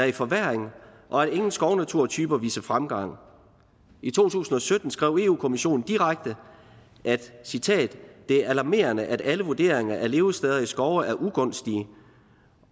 i forværring og at ingen skovnaturtyper viser fremgang i to tusind og sytten skrev eu kommissionen direkte og jeg citerer at det er alarmerende at alle vurderinger af levesteder i skove er ugunstige